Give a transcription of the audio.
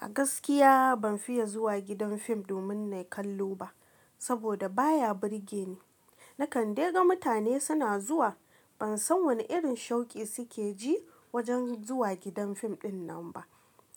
A gaskiya ban fiye zuwa gidan fim domin na kallo ba, saboda baya burge ni. Na kande ga mutane suna zuwa, ban san wane irin shauki suke ji wajen zuwa gidan fim dinnan ba.